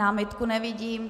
Námitku nevidím.